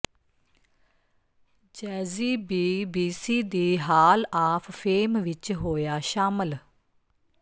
Jazzy B BC ਦੀ hall of fame ਵਿਚ ਹੋਇਆ ਸ਼ਾਮਲ